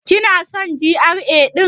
Kina son GRA ɗin?